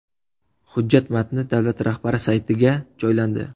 Hujjat matni davlat rahbari saytiga joylandi .